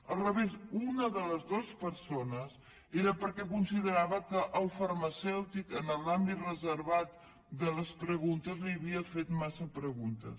al revés una de les dues persones era perquè considerava que el farmacèutic en l’àmbit reservat de les preguntes li havia fet massa preguntes